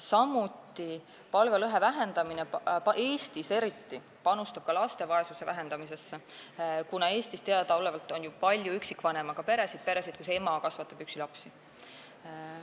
Samuti panustab palgalõhe vähendamine, Eestis eriti, ka laste vaesuse vähendamisesse, kuna Eestis on teadaolevalt palju üksikvanemaga peresid, st peresid, kus ema kasvatab lapsi üksi.